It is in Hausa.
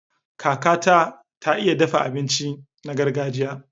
Kakata ta iya dafa abinci na gargajiya.